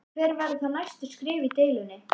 Hver verða þá næstu skref í deilunni?